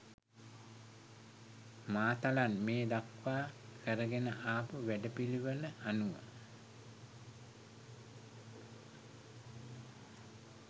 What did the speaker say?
මාතලන් මේ දක්වා කරගෙන ආපු වැඩපිළිවෙල අනුව